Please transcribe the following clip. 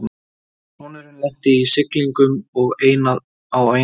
Sonurinn lenti í siglingum og á eina dóttur